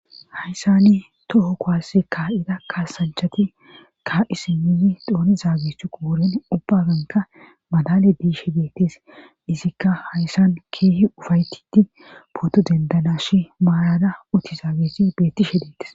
hayssani toho kowassi kaa7ida kaasanchati kaa7i simmuzi dooni zaagehuqo wuren ubbaganka madale diishe deettes izikka hayssan keehi ufaytiti pooto dendana shi maalada utti zaageshi bettishe deetes